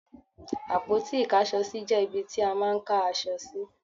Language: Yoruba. Àpótí Ìkáṣọsí jẹ́ ibi ti a máà ń ká aṣọ sí.